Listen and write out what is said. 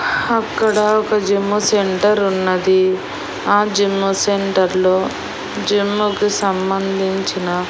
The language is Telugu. అక్కడ ఒక జిమ్ము సెంటర్ ఉన్నది ఆ జిమ్ సెంటర్లో జిమ్ కు సంబంధించిన--